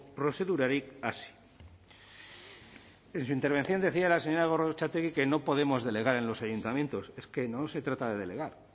prozedurarik hasi en su intervención decía la señora gorrotxategi que no podemos delegar en los ayuntamientos es que no se trata de delegar